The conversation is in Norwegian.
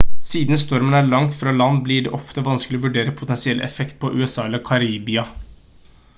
siden stormen er langt fra land blir det ofte vanskelig å vurdere potensielle effekt på usa eller karibia